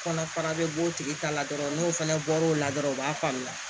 Kɔnɔfara bɛ b'o tigi ta la dɔrɔn n'o fana bɔr'o la dɔrɔn u b'a faamuya